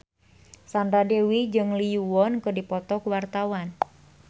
Sandra Dewi jeung Lee Yo Won keur dipoto ku wartawan